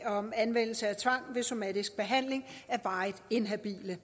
om anvendelse af tvang ved somatisk behandling af varigt inhabile